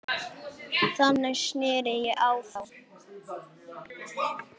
Þannig sneri ég á þá.